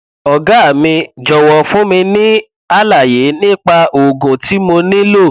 ọgá mi jọwọ fún mi ní àlàyé nípa oògùn tí mo nílò